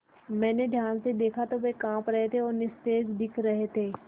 मैंने ध्यान से दखा तो वे काँप रहे थे और निस्तेज दिख रहे थे